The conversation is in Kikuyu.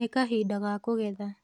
Nĩ kahinda ga kũgetha